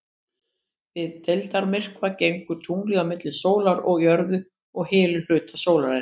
Við deildarmyrkva gengur tunglið á milli sólar og jörðu og hylur hluta sólarinnar.